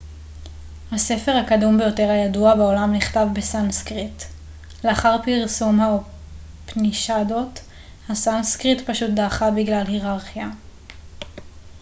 הספר הקדום ביותר הידוע בעולם נכתב בסנסקריט לאחר פרסום האופנישדות הסנסקריט פשוט דעכה בגלל היררכיה